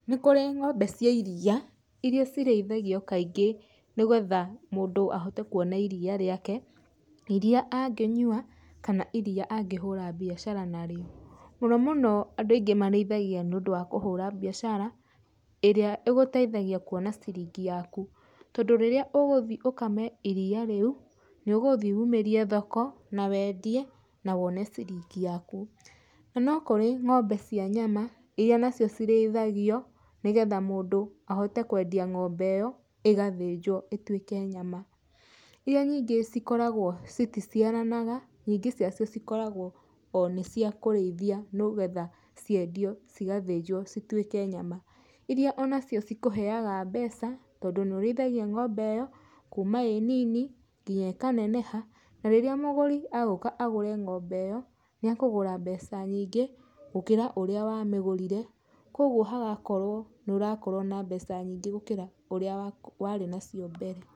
Nĩ kũrĩ ngombe cia iria, iria cireithagio kaingĩ nĩgetha mũndũ ahote kuona iria rĩake, iria angĩnyua kana iria angĩhũra bicara narĩo. Mũno mũno andũ aingĩ marĩithagia nĩ ũndũ wa kũhũra biacara, ĩrĩa ĩgũteithagia kuona ciringi yaku. Tondũ rĩrĩa ũgũthi ũkame iria rĩu, nĩ ũgũthi ũmĩrie thoko na wendie na wone ciringi yaku. Na no kũrĩ ngombe cia nyama, iria nacio cirĩithagio, nĩgetha mũndũ ahote kwendia ngombe ĩyo, ĩgathĩnjwo ĩtuĩke nyama. Iria nyingĩ cikoragwo citiciaranaga, nyingĩ ciacio cikoragwo o nĩ cia kũrĩithia nĩgetha ciendio, cigathĩnjwo, citwĩke nyama. Iria onacio cikũheaga mbeca tondũ nĩ ũrĩithagia ngombe ĩyo, kuma ĩ nini, nginya ĩkaneneha, na rĩrĩa mũgũri agũka agũre ngombe ĩyo, nĩ akũgũra mbeca nyingĩ gũkĩra ũrĩa wamegũrire, kogwo hagakorwo nĩ ũrakorwo na mbeca nyingĩ gũkĩra ũrĩa warĩ nacio mbere.